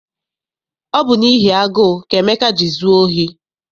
Ọ bụ n'ihi agụụ ka Emeka ji zụọ ohi.